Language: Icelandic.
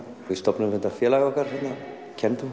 við stofnuðum þetta félag okkar